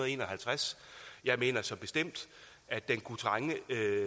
en og halvtreds jeg mener så bestemt at der kunne trænges